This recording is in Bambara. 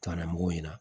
Kalan mugu ɲina